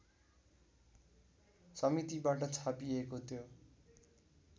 समितिबाट छापिएको त्यो